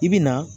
I bi na